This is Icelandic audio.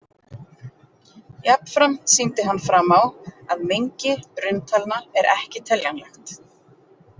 Jafnframt sýndi hann fram á að mengi rauntalna er ekki teljanlegt.